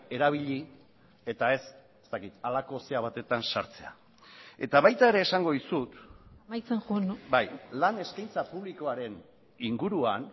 erabili eta ez ez dakit halako zera batetan sartzea eta baita ere esango dizut amaitzen joan bai lan eskaintza publikoaren inguruan